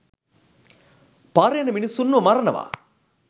පාරෙ යන මිනිස්සුන්ව මරනවා.